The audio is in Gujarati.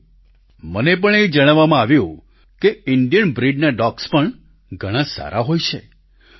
સાથીઓ મને પણ એ જણાવવામાં આવ્યું કે ઈન્ડિયન બ્રિડના ડોગ્સ પણ ઘણા સારા હોય છે